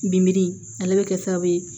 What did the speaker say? Bibi ale bɛ kɛ sababu ye